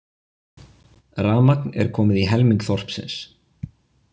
Rafmagn er komið í helming þorpsins